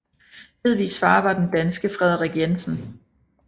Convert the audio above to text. Hedvigs far var den danske Frederik Jensen